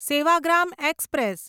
Sevagram express